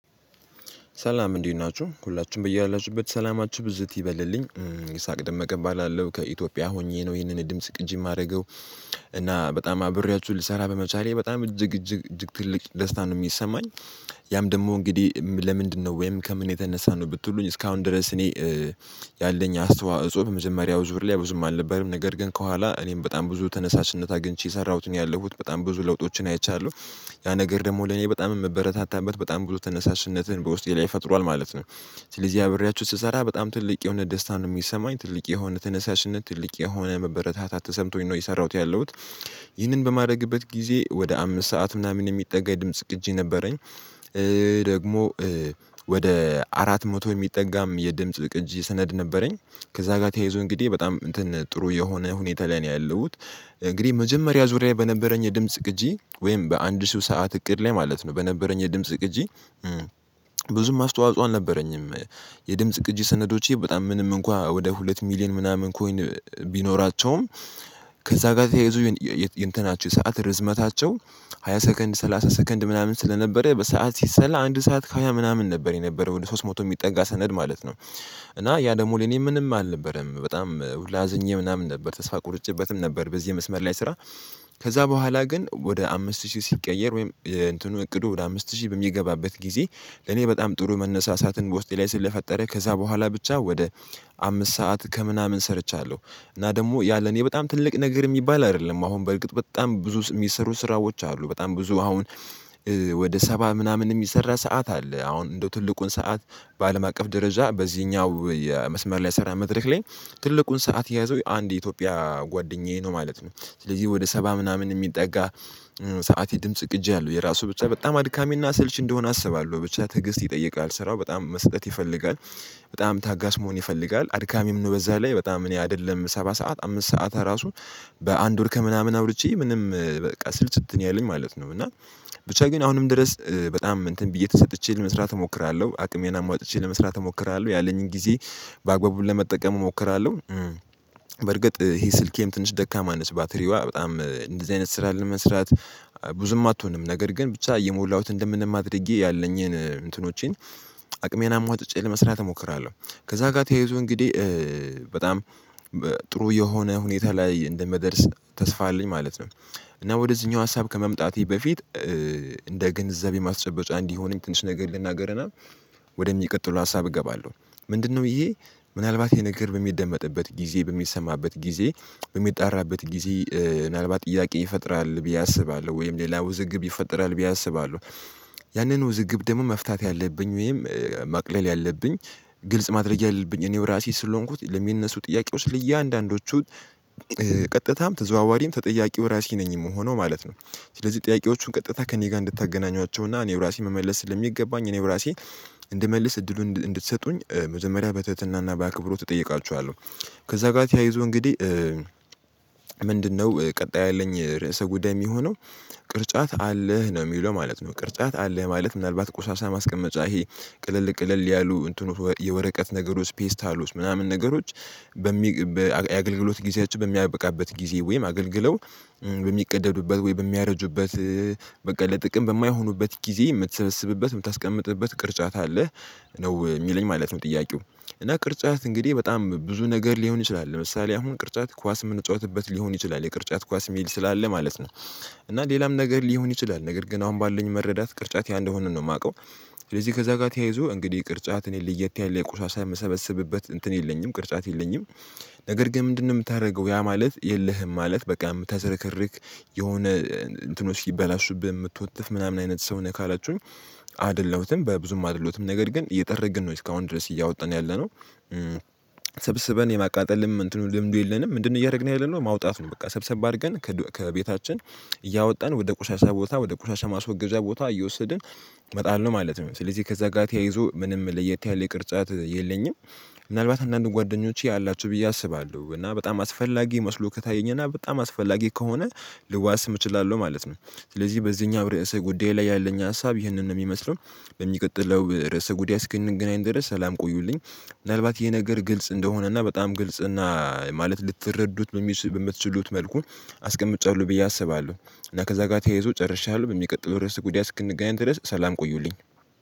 ሰላም እንዲህ ናችሁ ሁላችሁም በያላችሁበት ሰላማችሁ ብዝት ይበልልኝ ይስሐቅ ደመቀ እባላለሁ ከኢትዮጵያ ሆኜ ነው ይህንን ድምጽ ቅጂ የማደርገው እና በጣም አብሬያችሁ ልሰራ በመቻሌ በጣም እጅግ እጅግ እጅግ ትልቅ ደስታ ነው የሚሰማኝ። ያም ደግሞ እንግዲህ ለምንድነው ወይም ከምን የተነሳ ነው? ብትሉኝ እስካሁን ድረስ እኔ ያለኝ አስተዋጽኦ በመጀመሪያው ዙር ላይ ብዙም አልነበረም ነገር ግን ከኋላ እኔም በጣም ብዙ ተነሳሽነት አግኝቼ የሰራሁትን ያለሁት በጣም ብዙ ለውጦችን አይቻለሁ። ያ ነገር ደግሞ ለኔ በጣም የምበረታታበት በጣም ብዙ ተነሳሽነትን በውስጤ ላይ ፈጥሯል ማለት ነው። ስለዚህ አብሬያችሁ ስሰራ በጣም ትልቅ የሆነ ደስታን ነው የሚሰማኝ ትልቅ የሆነ ተነሳሽነት ትልቅ የሆነ መበረታታት ተሰምቶኝ ነው የሰራሁት ያለሁት ይህንን በማድረግበት ጊዜ ወደ አምስት ሰዓት ምናምን የሚጠጋ የድምጽ ቅጂ ነበረኝ። ደግሞ ወደ አራት መቶ የሚጠጋም የድምጽ ቅጅ ስነድ ነበረኝ። ከዛ ጋር ተያይዞ እንግዲህ በጣም ጥሩ የሆነ ሁኔታ ላይ ነው ያለሁት። እንግዲህ መጀመሪያ ዙሪያ በነበረኝ የድምጽ ቅጂ ወይም በአንድ ሰው ሰዓት እቅድ ላይ ማለት ነው በነበረኝ የድምጽ ቅጂ። ብዙም አስተዋጽኦ አልነበረኝም። የድምጽ ቅጂ ሰነዶቼ በጣም ምንም እንኳን ወደ ሁለት ሚሊየን ምናምን ኮይን ቢኖራቸውም። ከዛ ጋር ተያይዞ የእንትናችሁ ሰዓት ርዝመታቸው ሃያ ሰከንድ ሰላሳ ሰከንድ ምናምን ስለነበረ በሰአት ሲሰላ አንድ ሰዓት ከሃያ ምናምን ነበር የነበረው ወደ ሶስት መቶ የሚጠጋ ሰነድ ማለት ነው። እና ያ ደግሞ ለኔ ምንም አልነበረም በጣም ሁላ አዝኜ ምናምን ነበር ተስፋ ቁርጭበትም ነበር በዚህ መስመር ላይ ስራ። ከዛ በኋላ ግን ወደ አምስት ሺህ ሲቀየር ወይም እንትኑ እቅዱ ወደ አምስት ሺህ በሚገባበት ጊዜ እኔ በጣም ጥሩ መነሳሳትን በውስጤ ላይ ስለፈጠረ ከዛ በኋላ ብቻ ወደ አምስት ሰዓት ከምናምን ሰርቻለሁ። እና ደግሞ ያ ለኔ በጣም ትልቅ ነገር የሚባል አይደለም አሁን በእርግጥ በጣም ብዙ የሚሰሩ ስራዎች አሉ በጣም ብዙ አሁን። ወደ ሰባ ምናምን የሚሰራ ሰዓት አለ አሁን እንደው ትልቁን ሰዓት በአለም አቀፍ ደረጃ በዚህኛው የመስመር ላይ ስራ መድረክ ላይ ትልቁን ሰዓት የያዘው የአንድ የኢትዮጵያ ጓደኛዬ ነው ማለት ነው። ስለዚህ ወደ ሰባ ምናምን የሚጠጋ ሰዓት የድምጽ ቅጂ አለው የራሱ ብቻ በጣም አድካሚና አሰልች እንደሆነ አስባለሁ ብቻ ትግስት ይጠይቃል ስራው በጣም መሰጠት ይፈልጋል። በጣም ታጋሽ መሆን ይፈልጋል አድካሚም ነው በዛ ላይ በጣም እኔ አይደለም ሰባ ሰዓት አምስት ሰዓት እራሱም። በአንድ ወር ከምናምን አውርቼ ምንም በቃ ስልችት ነው ያለኝ ማለት ነው እና። ብቻ ግን አሁንም ድረስ በጣም እንትን ብዬ ተሰጥቼ ለመስራት እሞክራለሁ አቅሜን አሟጥጬ ለመስራት እሞክራለሁ ያለኝን ጊዜ በአግባቡ ለመጠቀም እሞክራለሁ። በርግጥ ይሄ ስልኬም ትንሽ ደካማ ነች ባትሪዋ በጣም እንደዚህ አይነት ስራ ለ መስራት። ብዙም አትሆንም ነገር ግን ብቻ የሞላሁት እንደምንም አድርጌ ያለኝን እንትኖቼን አቅሜን አሟጥጬ ለመስራት እሞክራለሁ። ከዛ ጋር ተያይዞ እንግዲህ በጣም ጥሩ የሆነ ሁኔታ ላይ እንደምደርስ ተስፋ አለኝ ማለት ነው። እና ወደዚኛው ሀሳብ ከመምጣቴ በፊት እንደ ግንዛቤ ማስጨበጫ እንዲሆነኝ ትንሽ ነገር ልናገርና ወደ ሚቀጥለው ሀሳብ እገባለሁ። ምንድነው ይሄ? ምናልባት የነገር በሚደመጥበት ጊዜ በሚሰማበት ጊዜ በሚጣራበት ጊዜ ምናልባት ጥያቄ ይፈጥራል ብዬ አስባለሁ ወይም ሌላ ውዝግብ ይፈጥራል ብዬ አስባለሁ። ያንን ውዝግብ ደግሞ መፍታት ያለብኝ ወይም ማቅለል ያለብኝ። ግልጽ ማድረግ ያለብኝ እኔው ራሴ ስለሆንኩት ለሚነሱ ጥያቄዎች ለእያንዳንዶቹ ቀጥታም ተዘዋዋሪም ተጠያቂው ራሴ ነኝ የምሆነው ማለት ነው። ስለዚህ ጥያቄዎቹን ቀጥታ ከእኔ ጋር እንድታገናኟቸውና እና እኔው ራሴ መመለስ ስለሚገባኝ እኔው ራሴ እንድመልስ እድሉን እንድትሰጡኝ መጀመሪያ በትህትናና በአክብሮት እጠይቃችኋለሁ። ከዛ ጋር ተያይዞ እንግዲህ ምንድነው ቀጣይ ያለኝ ርዕሰ ጉዳይ የሚሆነው? ቅርጫት አለህ ነው የሚለው ማለት ነው ቅርጫት አለህ ማለት ምናልባት ቁሻሻ ማስቀመጫ ይሄ? ቅለል ቅለል ያሉ የወረቀት ነገሮች ፌስታሎች ምናምን ነገሮች በሚ የአገልግሎት ጊዜያቸው በሚያበቃበት ጊዜ ወይም አገልግለው በሚቀደዱበት ወይ በሚያረጁበት በቃ ለጥቅም በማይሆኑበት ጊዜ የምትሰበስብበት የምታስቀምጥበት ቅርጫት አለ። ነው የሚለኝ ማለት ነው ጥያቄው። እና ቅርጫት እንግዲህ በጣም ብዙ ነገር ሊሆን ይችላል ለምሳሌ አሁን ቅርጫት ኳስ የምንጫወትበት ሊሆን ይችላል የቅርጫት ኳስ ሚል ስላለ ማለት ነው። እና ሌላም ነገር ሊሆን ይችላል ነገር ግን አሁን ባለኝ መረዳት ቅርጫት ያ እንደሆነ ነው የማውቀው። ስለዚህ ከዛ ጋር ተያይዞ እንግዲህ ቅርጫት እኔ ልየት ያለ የቁሻሻ የምሰበስብበት እንትን የለኝም ቅርጫት የለኝም። ነገር ግን ምንድነው የምታደገው ያ ማለት የለህም ማለት በቃ ምታዝረከርክ? የሆነ እንትኖች ሲበላሹብህ የምትወድ ምናምን አይነት ሰው ነህ ካላችሁኝ? አይደለሁትም በብዙም አይደለሁትም ነገር ግን እየጠረግን ነው እስካሁን ድረስ እያወጣን ያለነው። ሰብስበን የማቃጠልም እንትኑ ልምዱ የለንም። ምንድነው እያደረግን ያለነው? ማውጣት ነው። በቃ ሰብሰብ አድርገን ከቤታችን እያወጣን ወደ ቆሻሻ ቦታ ወደ ቆሻሻ ማስወገጃ ቦታ እየወሰድን። እመጣለሁ ማለት ነው ስለዚህ ከዛ ጋር ተያይዞ ምንም ለየት ያለ የቅርጫት የለኝም። ምናልባት አንዳንድ ጓደኞቼ ያላችሁ ብዬ አስባለሁ እና በጣም አስፈላጊ መስሎ ከታየኝና በጣም አስፈላጊ ከሆነ ልዋስም እችላለሁ ማለት ነው። ስለዚህ በዚህኛው ርዕሰ ጉዳይ ላይ ያለኝ ሀሳብ ይህንን ነው የሚመስለው። ለሚቀጥለው ርዕሰ ጉዳይ እስክንገናኝ ድረስ ሰላም ቆዩልኝ። ምናልባት ይሄ ነገር ግልጽ እንደሆነና በጣም ግልጽና ማለት ልትረዱት በምትችሉ በምትችሉት መልኩ አስቀምጬዋለሁ ብዬ አስባለሁ። እና ከዛ ጋር ተያይዞ ጨርሻለሁ በሚቀጥለው ርዕስ ጉዳይ እስክንገናኝ ድረስ ሰላም ቆዩልኝ